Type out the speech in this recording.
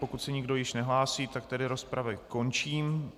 Pokud se nikdo již nehlásí, tak tedy rozpravu končím.